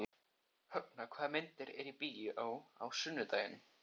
Högna, hvaða myndir eru í bíó á sunnudaginn?